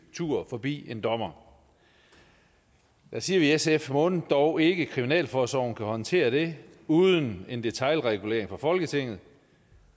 tur forbi en dommer der siger vi i sf mon dog ikke kriminalforsorgen kan håndtere det uden en detailregulering fra folketinget